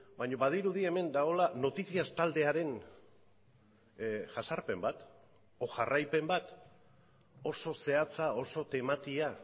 baina badirudi hemen dagoela noticias taldearen jazarpen bat edo jarraipen bat oso zehatza oso tematia